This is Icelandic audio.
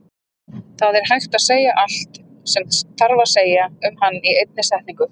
Það er hægt að segja allt sem þarf að segja um hann í einni setningu.